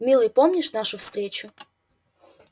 милый помнишь нашу встречу